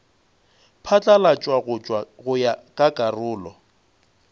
phatlalatšwa go ya ka karolo